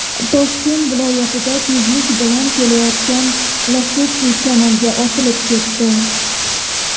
Toshkent viloyatida tezlik bilan kelayotgan Lacetti kanalga otilib ketdi .